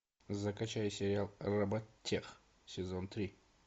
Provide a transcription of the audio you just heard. закачай сериал роботех сезон три